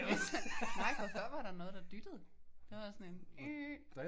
Vi er taget nej for før var der noget der dyttede. Der var sådan en ah